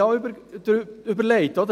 Wir überlegten uns dazu: